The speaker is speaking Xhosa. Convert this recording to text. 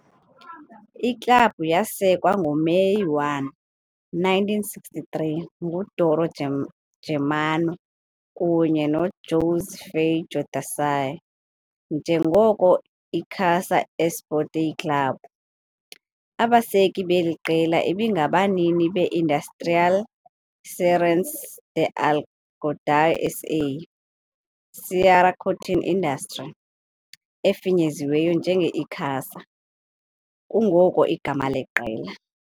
Iklabhu yasekwa ngoMeyi 1, 1963 nguDoro Germano, kunye noJosé Feijó de Sá, njengoko Icasa Esporte Clube. Abaseki beli qela ibingabanini be-Indústria Cearense de Algodão SA, Ceará Cotton Industry, efinyeziweyo njenge-ICASA, kungoko igama leqela.